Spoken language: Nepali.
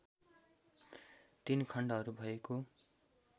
तीन खण्डहरू भएको